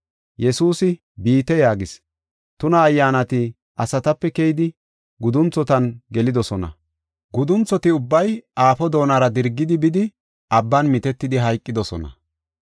Yesuusi, “Biite” yaagis. Tuna ayyaanati asatape keyidi gudunthotan gelidosona. Gudunthoti ubbay aafo doonara dirgidi bidi abban mitetidi hayqidosona.